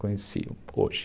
Conheci hoje.